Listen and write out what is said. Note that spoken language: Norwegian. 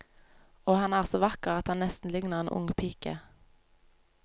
Og han er så vakker at han nesten ligner en ung pike.